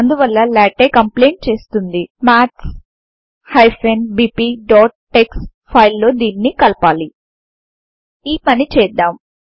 అందువల్ల LaTeX complain చేస్తుంది maths bpటెక్స్ ఫైల్ లో దీనిని కలపాలి ఈ పని చేద్దాం